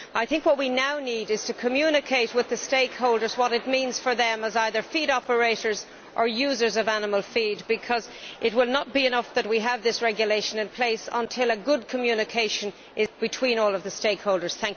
I think what we now need is to communicate with the stakeholders what it means for them, as either feed operators or as users of animal feed, because it will not be enough that we have this regulation in place until there is good communication between all stakeholders.